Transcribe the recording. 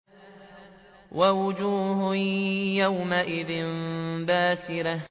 وَوُجُوهٌ يَوْمَئِذٍ بَاسِرَةٌ